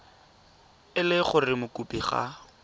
e le gore mokopi ga